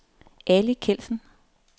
Ali Kjeldsen